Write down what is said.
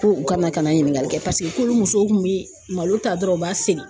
Ko u kana ka na ɲiningali kɛ paseke kolo musow kun bi malo ta dɔrɔn u b'a seri